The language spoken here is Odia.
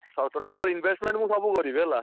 ହଉ total ତାର investment ମୁଁ ସବୁ କରିବି ହେଲା।